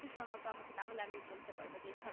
একটু সোনাও তাহলে না হলে আমি বলতে পারবো যেই ছড়াটা